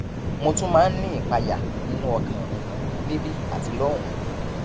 mo tún máa ń ní ìpayà nínú ọkàn mi níbí àti lọhùnún